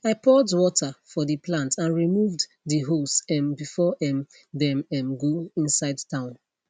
i poured water for de plant and removed de hose um before um dem um go inside town